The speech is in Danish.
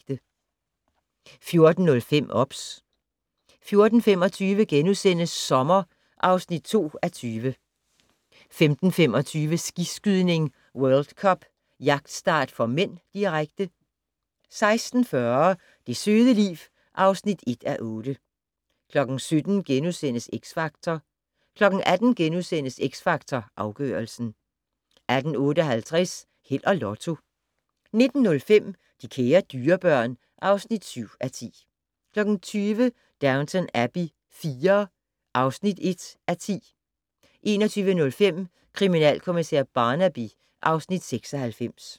14:05: OBS 14:25: Sommer (2:20)* 15:25: Skiskydning: World Cup - jagtstart (m), direkte 16:40: Det søde liv (1:8) 17:00: X Factor * 18:00: X Factor Afgørelsen * 18:58: Held og Lotto 19:05: De kære dyrebørn (7:10) 20:00: Downton Abbey IV (1:10) 21:05: Kriminalkommissær Barnaby (Afs. 96)